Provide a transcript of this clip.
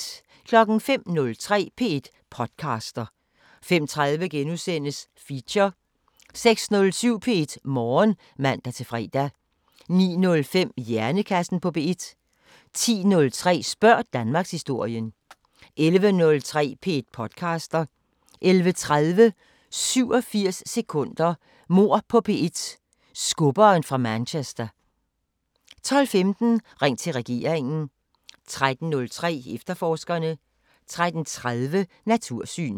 05:03: P1 podcaster 05:30: Feature * 06:07: P1 Morgen (man-fre) 09:05: Hjernekassen på P1 10:03: Spørg Danmarkshistorien 11:03: P1 podcaster 11:30: 87 sekunder – Mord på P1: Skubberen fra Manchester 12:15: Ring til regeringen 13:03: Efterforskerne 13:30: Natursyn